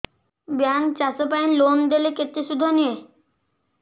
bank ଚାଷ ପାଇଁ loan ଦେଲେ କେତେ ସୁଧ ନିଏ